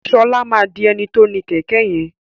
Ṣọlá má dì eni to ní kẹkẹ yẹn